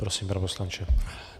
Prosím, pane poslanče.